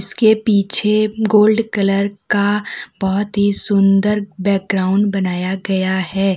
उसके पीछे gold colour का बहुत ही सुंदर बैकग्राउंड बनाया गया है।